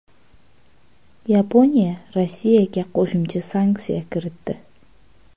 Yaponiya Rossiyaga qo‘shimcha sanksiya kiritdi.